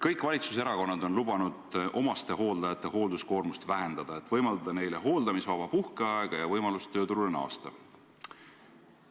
Kõik valitsuserakonnad on lubanud omastehooldajate hoolduskoormust vähendada, et võimaldada neile hooldamisvaba puhkeaega ja võimalust töörurule naasta.